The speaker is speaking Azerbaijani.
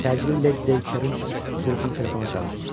Təcili Led Dekkerin qrupunu telefona çağır.